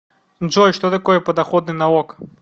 джой что такое подоходный налог